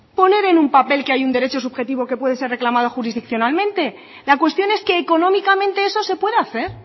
poner en un papel que hay un derecho subjetivo que puede ser reclamado jurisdiccionalmente la cuestión es que económicamente eso se puede hacer